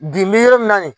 Bi n bɛ yɔrɔ min na nin